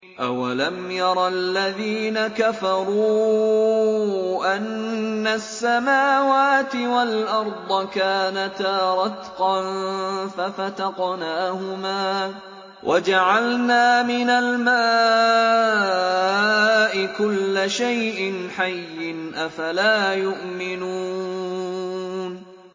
أَوَلَمْ يَرَ الَّذِينَ كَفَرُوا أَنَّ السَّمَاوَاتِ وَالْأَرْضَ كَانَتَا رَتْقًا فَفَتَقْنَاهُمَا ۖ وَجَعَلْنَا مِنَ الْمَاءِ كُلَّ شَيْءٍ حَيٍّ ۖ أَفَلَا يُؤْمِنُونَ